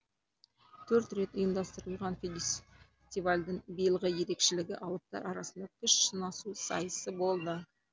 төрт рет ұйымдастырылған фестивальдің биылғы ерекшелігі алыптар арасында күш сынасу сайысы болды